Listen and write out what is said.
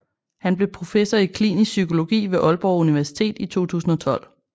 Han blev professor i klinisk psykologi ved Aalborg Universitet i 2012